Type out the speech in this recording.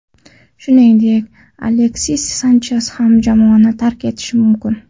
Shuningdek, Aleksis Sanches ham jamoani tark etishi mumkin.